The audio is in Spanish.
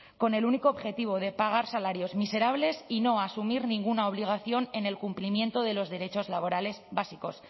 con el único objetivo de pagar salarios miserables y no asumir ninguna obligación en el cumplimiento de los derechos laborales básicos